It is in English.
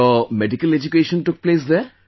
Your medical education took place there